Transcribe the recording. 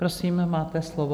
Prosím, máte slovo.